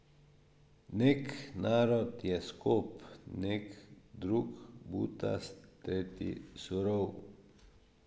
Nek narod je skop, nek drug butast, tretji surov.